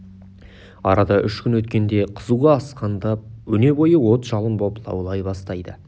арада үш күн өткенде қызуы асқындап өне бойы от-жалын боп лаулай бастайды